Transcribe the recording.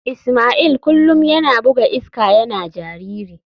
Ismail kullum yana buga iska yana jariri.